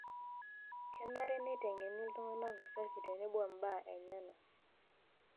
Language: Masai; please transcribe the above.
Kenare neiteng'eni iltungana usafi tenebo imbaa enyana.